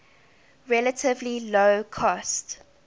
relatively low cost